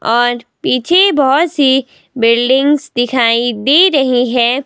और पीछे बहुत सी बिल्डिंग्स दिखाई दे रही हैं।